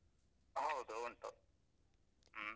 ಹೌದು ಉಂಟು, ಹ್ಮ್.